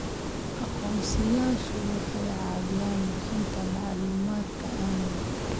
Aqoonsiyeyaashu waxay caawiyaan bixinta macluumaadka amniga.